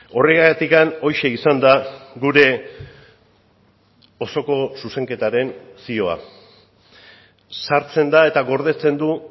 horregatik horixe izan da gure osoko zuzenketaren zioa sartzen da eta gordetzen du